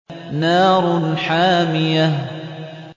نَارٌ حَامِيَةٌ